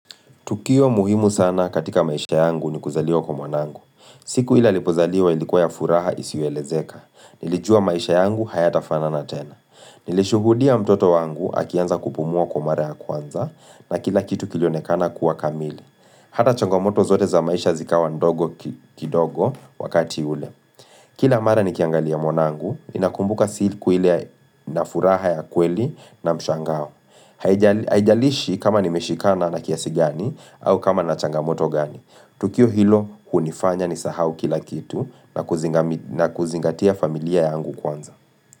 Tukio muhimu sana katika maisha yangu ni kuzaliwa kwa mwanangu. Siku ile alipozaliwa ilikuwa ya furaha isiyoelezeka. Nilijua maisha yangu hayatafanana tena. Nilishuhudia mtoto wangu akianza kupumua kwa mara ya kwanza na kila kitu kilionekana kuwa kamili. Hata changomoto zote za maisha zikawa ndogo kidogo wakati ule. Kila mara nikiangalia mwanangu, ninakumbuka siku ile na furaha ya kweli na mshangao. Haijalishi kama nimeshikana na kiasi gani au kama na changamoto gani. Tukio hilo, hunifanya nisahau kila kitu na kuzingatia familia yangu kwanza.